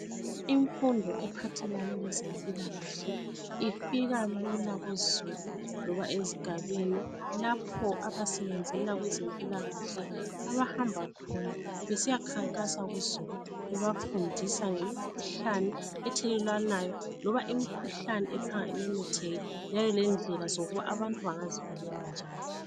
Imfundo ephathelane lezempilakahle ifika lula kuzulu loba ezigabeni lapho abasebenzela kwezempilakahle abahamba khona besiya khankasa kuzulu. Bebafundisa ngemkhuhlane ethelelwanayo loba imkhuhlane ephanga imemetheke . Njalo lendlela zokuba abantu bangazivikela njani .